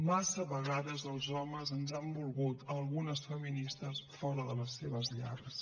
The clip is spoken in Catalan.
massa vegades els homes ens han volgut a algunes feministes fora de les seves llars